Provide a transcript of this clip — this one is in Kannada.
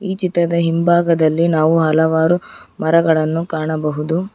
ಚಿತ್ರದ ಹಿಂಭಾಗದಲ್ಲಿ ನಾವು ಹಲವಾರು ಮರಗಳನ್ನು ಕಾಣಬಹುದು.